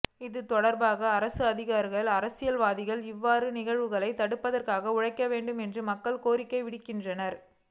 இதுதொடர்பாக அரசு அதிகாரிகள் அரசியல் வாதிகள் இவ்வாறான நிகழ்வுகளை தடுப்பதற்காக உழைக்க வேண்டும் என மக்கள் கோரிக்கை விடுக்கின்றனர்